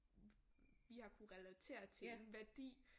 Vi har kunnet relatere til en værdi